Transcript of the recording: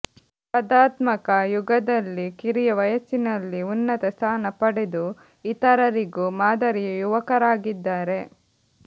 ಸ್ಪಧಾತ್ಮಕ ಯುಗದಲ್ಲಿ ಕಿರಿಯ ವಯಸ್ಸಿನಲ್ಲಿ ಉನ್ನತ ಸ್ಥಾನ ಪಡೆದು ಇತರರಿಗೂ ಮಾದರಿಯ ಯುವಕರಾಗಿದ್ದಾರೆ